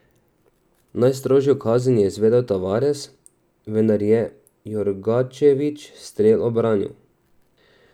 Najstrožjo kazen je izvedel Tavares, vendar je Jorgačević strel obranil.